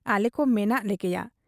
ᱟᱞᱮᱠᱚ ᱢᱮᱱᱟᱜ ᱞᱮᱜᱮᱭᱟ ᱾